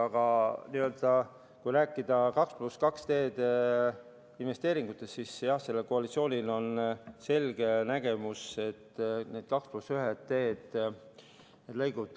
Aga kui rääkida 2 + 2 teede investeeringutest, siis jah, sellel koalitsioonil on selge nägemus.